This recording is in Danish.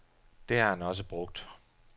Det har han også brugt.